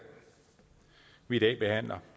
vi i dag behandler